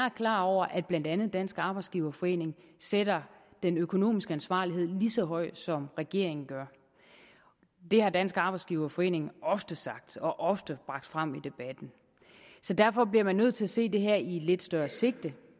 er klar over at blandt andet dansk arbejdsgiverforening sætter den økonomiske ansvarlighed lige så højt som regeringen gør det har dansk arbejdsgiverforening ofte sagt og ofte bragt frem i debatten derfor bliver man nødt til at se det her i et lidt større sigte